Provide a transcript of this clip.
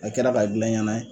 A kɛra k'a gilan i ɲɛna ye